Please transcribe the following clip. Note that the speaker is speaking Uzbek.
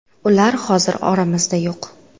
Ular hozir oramizda yo‘q.